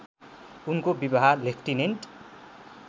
उनको विवाह लेफ्टिनेन्ट